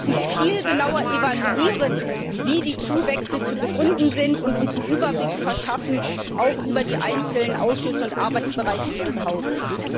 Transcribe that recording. oder Wir müssen viel genauer evaluieren, wie die Zuwächse zu begründen sind, und uns einen Überblick verschaffen, auch über die einzelnen Ausschüsse und Arbeitsbereiche dieses Hauses.